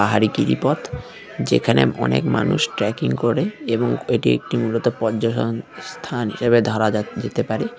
ভারী গিরিপথ যেখানে অনেক মানুষ ট্র্যাকিং করে এবং এটি একটি মূলত পর্যটন স্থান হিসেবে ধরা যা যেতে পারে।